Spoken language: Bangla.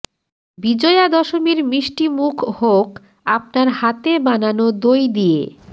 বিজয়া দশমীর মিষ্টি মুখ হোক আপনার হাতে বানানো দই দিয়ে